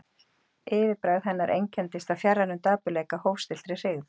Yfirbragð hennar einkenndist af fjarrænum dapurleika, hófstilltri hryggð.